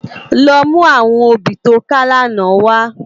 Lò mú áwòn óbì tó ká làná wá